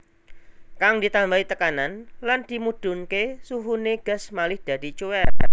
Kang ditambahi tekanan lan dimudhunké suhuné gas malih dadi cuwèr